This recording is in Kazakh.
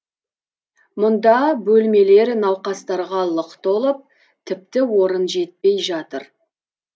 мұнда бөлмелер науқастарға лық толып тіпті орын жетпей жатыр